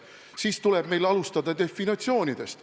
Siis tuleb meil alustada definitsioonidest.